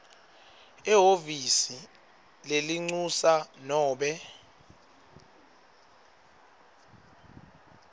ehhovisi lelincusa nobe